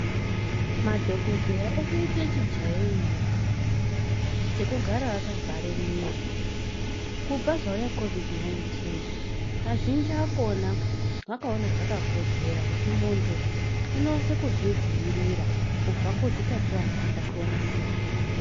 Madhokodheya otoite chijairiro chekugara akavhare miro kubva zvauya COVID 19.Azhinji akhona akaona zvakakodzera kuti muntu unase kuzvidziirira kubva kuzvitachiwana zvakasiyanasiyana.